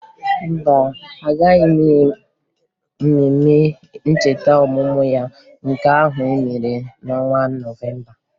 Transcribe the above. Mba, agaghị m mmemme ncheta ọmụmụ ya nke ahụ e mere n'ọnwa Nọvemba